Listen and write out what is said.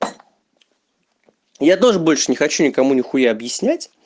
я тоже больше не хочу никому ни хуя объяснять